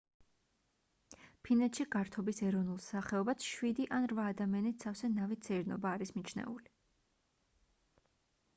ფინეთში გართობის ეროვნულ სახეობად შვიდი ან რვა ადამიანით სავსე ნავით სეირნობა არის მიჩნეული